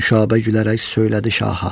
Nüşabə gülərək söylədi şaha: